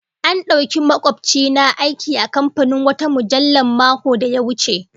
An dauki makobci na aiki a kamfanin wata mujallah makon da ya wuce